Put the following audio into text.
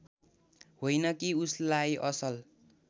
होइन कि उसलाई असल